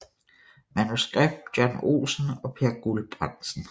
Manuskript John Olsen og Peer Guldbrandsen